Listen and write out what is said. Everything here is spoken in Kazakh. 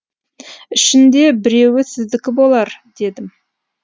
ішінде біреуі сіздікі болар дедім